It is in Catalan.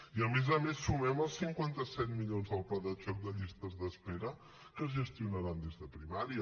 i a més a més sumem els cinquanta set milions del pla de xoc de llistes d’espera que es gestionaran des de primària